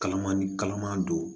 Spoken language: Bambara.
Kalaman ni kalaman don